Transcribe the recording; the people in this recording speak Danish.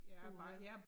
Uha